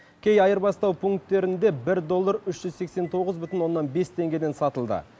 кей айырбастау пункттерінде бір доллар үш жүз сексен тоғыз бүтін оннан бес теңгеден сатылды